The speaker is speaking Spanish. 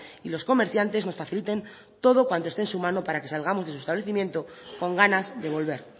y los comerciantes nos faciliten todo cuanto esté en su mano para que salgamos de su establecimiento con ganas de volver